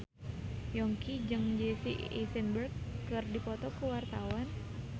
Yongki jeung Jesse Eisenberg keur dipoto ku wartawan